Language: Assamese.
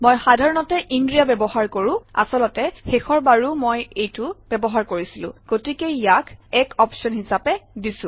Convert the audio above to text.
মই সাধাৰণতে ইনৰিয়া ব্যৱহাৰ কৰোঁ আচলতে শেষৰ বাৰো মই এইটো ব্যৱহাৰ কৰিছিলো গতিকে ইয়াক এক অপশ্যন হিচাপে দিছে